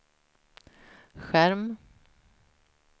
skärm